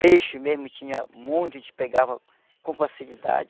Peixe mesmo tinha muito, a gente pegava com facilidade.